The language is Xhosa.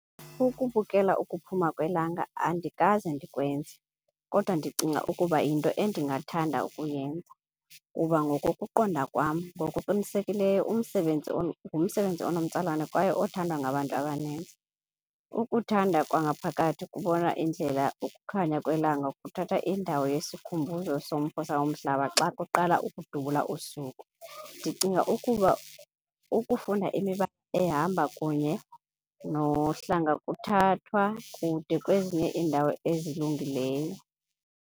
Ukubukela ukuphuma kwelanga andikaze ndikwenze, kodwa ndicinga ukuba yinto endingathanda ukuyenza. Kuba ngokokuqonda kwam, ngokuqinisekileyo umsebenzi ngumsebenzi enomtsalane kwaye othandwa ngabantu abaninzi. Ukuthanda kwangaphakathi kubona indlela ukukhanya kwelanga kuthatha indawo yesikhumbuzo salo mhlaba xa kuqala ukudubula usuku. Ndicinga ukuba ukufunda imiba ehamba kunye nohlanga kuthathwa kude kwezinye iindawo ezilungileyo.